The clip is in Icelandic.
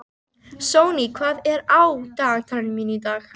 Sonný, hvað er á dagatalinu mínu í dag?